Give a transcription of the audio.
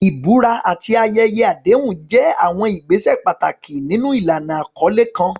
Ìbúra àti àwọn ayẹyẹ àdéhùn jẹ́ àwọn ìgbésẹ̀ pàtàkì nínú ìlànà àkọlé kan.